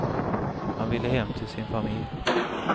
Han ville hem till sin familj.